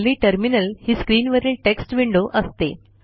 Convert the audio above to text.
हल्ली टर्मिनल ही स्क्रीनवरील टेक्स्ट विंडो असते